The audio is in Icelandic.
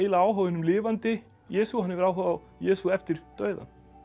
áhuga á hinum lifandi Jesú hann hefur áhuga á Jesú eftir dauðann